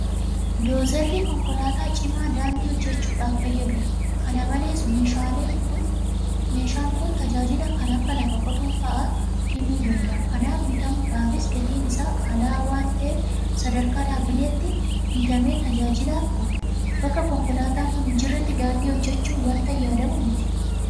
Doozarri konkolaataa cimaa daandii hojjechuudhaaf fayyadudha. Kana malees meeshaan kun tajaajila kan akka lafa qotuu fa'aa kennuu danda'a. Kanaaf bitamuudhaafis gatiin isaa qaala'aa waanta'eef sadarkaa dhaabbileetti bitamer tajaajilaaf oola. Bakka konkolaataan kun hinjirretti daandii hojjechuun waanta yaadamu miti.